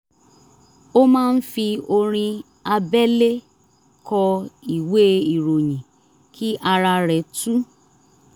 ó máa ń fi orin abẹ́lé kọ ìwé ìròyìn kí ara rẹ̀ tú